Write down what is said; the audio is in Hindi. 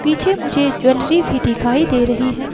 पीछे मुझे ज्वेलरी भी दिखाई दे रही है।